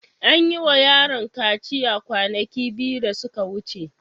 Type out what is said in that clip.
An yi wa yaron kaciya kwanaki biyu da suka wuce.